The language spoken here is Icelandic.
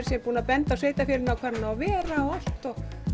segja búin að benda sveitarfélaginu á hvar hann á að vera og allt